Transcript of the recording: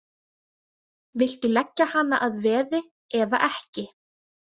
Viltu leggja hana að veði eða ekki?